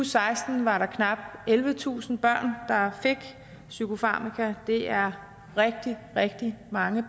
seksten var der knap ellevetusind børn der fik psykofarmaka det er rigtig rigtig mange